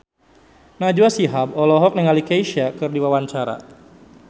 Najwa Shihab olohok ningali Kesha keur diwawancara